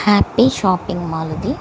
happy shopping mall ఇది --